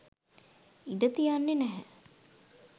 ඉඩ තියන්නෙ නැහැ